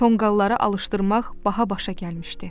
Tonqalları alışdırmaq baha başa gəlmişdi.